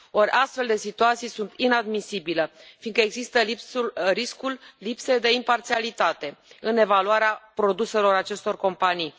Ori, astfel de situații sunt inadmisibile fiindcă există riscul lipsei de imparțialitate în evaluarea produselor acestor companii.